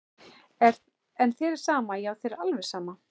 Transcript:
En þér er sama, já þér er alveg sama!